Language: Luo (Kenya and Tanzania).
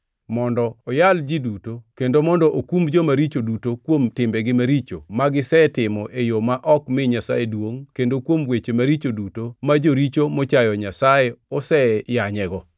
mondo oyal ji duto kendo mondo okum joma richo duto kuom timbegi maricho magisetimo e yo ma ok mi Nyasaye duongʼ kendo kuom weche maricho duto ma joricho mochayo Nyasaye oseyanyego.”